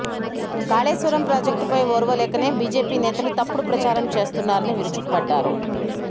కాళేశ్వరం ప్రాజెక్టుపై ఓర్వలేకనే బిజెపి నేతలు తప్పుడు ప్రచారం చేస్తున్నారని విరుచుకపడ్డారు